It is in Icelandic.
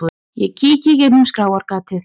Ég kíki í gegnum skráargatið.